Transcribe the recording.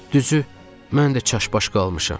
"Düzü, mən də çaşbaş qalmışam."